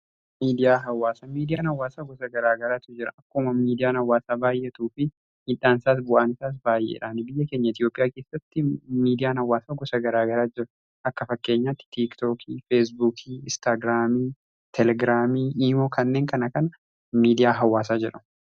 Miidiyaa hawaasa, miidiyaan hawwaasaa gosa garaagaratu jira akkuma miidiyaan hawwaasaa baay'etuu fi miidhaansaas bu'aanisaas baay'eedha. Biyya keenya Itoophiyaa keessatti miidiyaan hawwaasaa gosa garaagara jira akka fakkeenyaatti tiiktookii, feesbuukii, istaagiraamii, teelegiraamii fi iimoo kanneen kana miidiyaa hawwaasaa jedhamu.